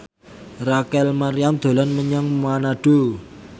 Rachel Maryam dolan menyang Manado